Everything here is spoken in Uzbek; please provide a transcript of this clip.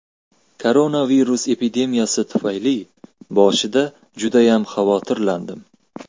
Koronavirus epidemiyasi tufayli boshida judayam xavotirlandim.